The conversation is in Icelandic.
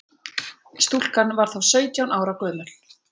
Stúlkan var þá sautján ára gömul